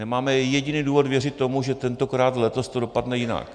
Nemáme jediný důvod věřit tomu, že tentokrát, letos to dopadne jinak.